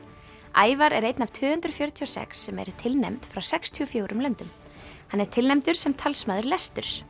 Ævar er einn af tvö hundruð fjörutíu og sex sem eru tilnefnd frá sextíu og fjórum löndum hann er tilnefndur sem talsmaður lesturs